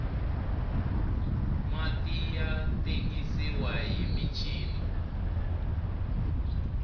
mati ya tengisiwa hi michini